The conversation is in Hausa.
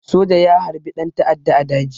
Soja ya harbi ɗan ta'adda a daji